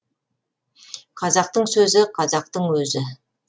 қазақтың сөзі қазақтың өзі